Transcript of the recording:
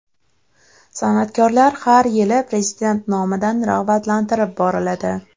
San’atkorlar har yili Prezident nomidan rag‘batlantirib boriladi.